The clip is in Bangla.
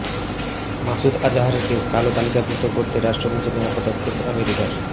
মাসুদ আজহারকে কালো তালিকাভুক্ত করতে রাষ্ট্রপুঞ্জে নয়া পদক্ষেপ আমেরিকার